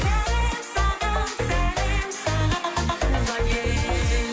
сәлем саған сәлем саған туған ел